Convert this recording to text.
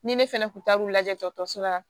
Ni ne fɛnɛ kun taar'u lajɛ dɔkɔtɔrɔso la